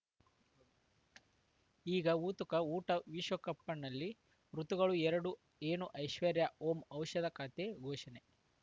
ಈಗ ಉತುಕ ಊಟ ವಿಶ್ವಕಪ್‌ ಕಣ್ಣಲ್ಲಿ ಋತುಗಳು ಎರಡು ಏನು ಐಶ್ವರ್ಯಾ ಓಂ ಔಷಧ ಖಾತೆ ಘೋಷಣೆ